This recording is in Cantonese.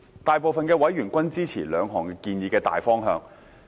大部分委員均支持兩項建議的大方向。